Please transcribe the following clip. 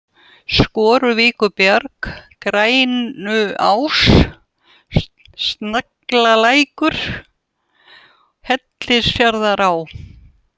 Skoruvíkurbjarg, Grænuás, Snagalækur, Hellisfjarðará